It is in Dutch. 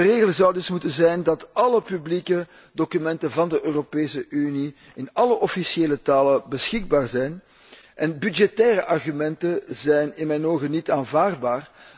De regel zou dus moeten zijn dat alle publieke documenten van de Europese Unie in alle officiële talen beschikbaar zijn en budgettaire argumenten zijn in mijn ogen niet aanvaardbaar.